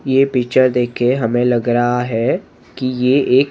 ये पिक्चर देख के हमें लग रहा हैं कि ये एक--